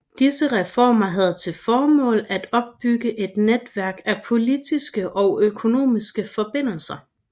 Disse reformer havde til formål at opbygge et netværk af politiske og økonomiske forbindelser